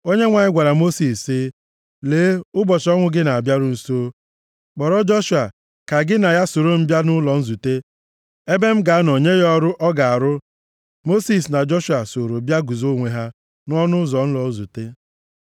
Onyenwe anyị gwara Mosis sị, “Lee, ụbọchị ọnwụ gị na-abịaru nso. Kpọrọ Joshua ka gị na ya soro bịa nʼụlọ nzute ebe m ga-anọ nye ya ọrụ ọ ga-arụ.” Mosis na Joshua sooro bịa guzo onwe ha nʼọnụ ụzọ ụlọ nzute.